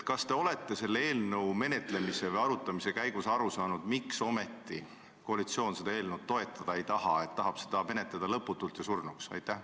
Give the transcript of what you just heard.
Kas te olete selle eelnõu menetlemise või arutamise käigus aru saanud, miks ometi koalitsioon seda eelnõu toetada ei taha, vaid tahab seda menetleda lõputult ja surnuks?